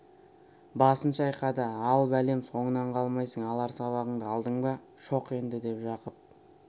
басын шайқады ал бәлем соңынан қалмайсың алар сыбағаңды алдың ба шоқ енді деп жақып